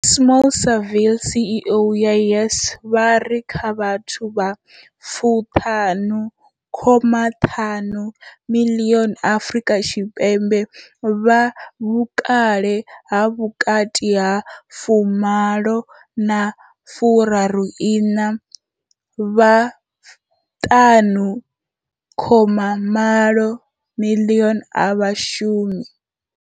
Smail Saville CEO wa YES, vha ri kha vhathu vha 15.5 miḽioni Afrika Tshipembe vha vhukale ha vhukati ha 18 na 34, vha 5.8 miḽioni a vha shumi.